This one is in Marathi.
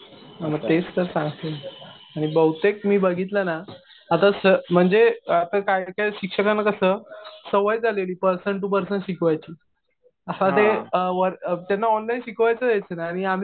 हा मग तेच तर सांगतोय मी. आणि बहुतेक मी बघितलं ना आता म्हणजे आता काही काही शिक्षकांना कसं सवय झालेली पर्सन टु पर्सन शिकवायची. असं ते त्यांना ऑनलाईन शिकवायचं यायचं नाही.आणि आम्ही